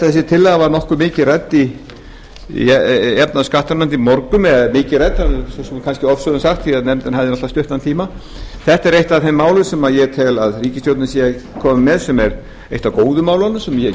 þessi tillaga var nokkuð mikið rædd í efnahags og skattanefnd í morgun eða mikið rædd er kannski ofsögum sagt því nefndin hafði stuttan tíma þetta er eitt af þeim málum sem ég tel að ríkisstjórnin sé að koma með sem er eitt af góðu málunum sem ég